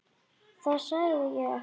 Það sagði ég ekki.